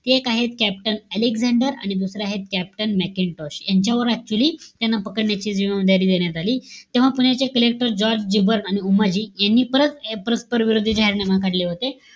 एक आहे captain Alexander, दुसरे आहेत captain मॅकेन्टोश. यांच्यावर actually त्यांना पकडण्याची देण्यात आली. तेव्हा पुण्याचे collector जॉर्ज जिबेर्ट आणि उमाजी यांनी परत, परस्पर विरोधी जाहीरनामा काढले होते.